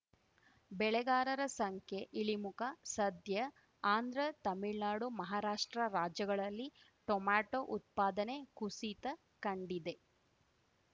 ಬೆಳೆಗಾರರ ಸಂಖ್ಯೆ ಇಳಿಮುಖ ಸದ್ಯ ಆಂಧ್ರ ತಮಿಳ್ನಾಡು ಮಹಾರಾಷ್ಟ್ರ ರಾಜ್ಯಗಳಲ್ಲಿ ಟೊಮೆಟೋ ಉತ್ಪಾದನೆ ಕುಸಿತ ಕಂಡಿದೆ